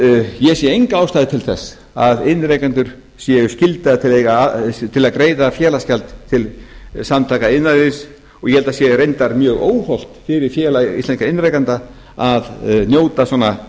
ég sé enga ástæðu til þess að iðnrekendur séu skyldaðir til að greiða félagsgjald til samtaka iðnaðarins og ég held að það sé reyndar mjög óhollt fyrir félag íslenskra iðnrekenda að njóta svona